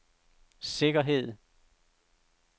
sikkerhed